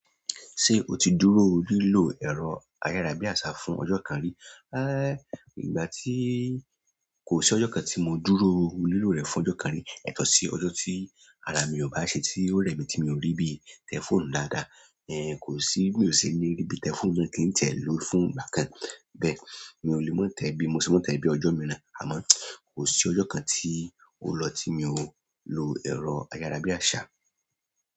Ṣé o ti dúró lílọ ẹ̀rọ ayárabíàṣá fún ọjọ́ kan rí? Rárá, ìgbà tí, kò sí ọjọ́ kan tí mo dúró lílọ rẹ̀ fún ọjọ́ kan rí, yàtọ̀ sí ọjọ́ tí ara mi ò bá ṣe tí ó rẹ̀ mí tí mi ò rí bí i tẹ̀f óònù dáadáa, kò sí bi ò ṣe ní rí bí i tẹ̀fóònù ṣe kí n ti ẹ̀ lò fún ìgbà kan. Bẹ́ẹ̀ mi ò lè má tẹ̀ bí i mo ṣe máa n tẹ̀ bí i ọjọ́ mìíràn, àmọ́ kò sí ọjọ́ kan tí ó lọ tí mi ò n lo ẹ̀rọ ayárabíàṣá.